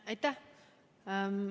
Aitäh!